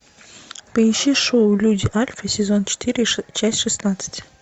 поищи шоу люди альфа сезон четыре часть шестнадцать